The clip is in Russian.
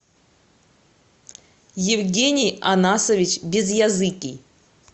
евгений анасович безъязыкий